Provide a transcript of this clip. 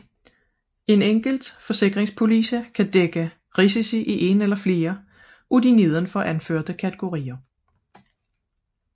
En enkelt forsikringspolice kan dække risici i en eller flere af de nedenfor anførte kategorier